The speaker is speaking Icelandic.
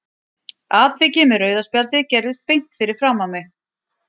Atvikið með rauða spjaldið gerðist beint fyrir framan mig.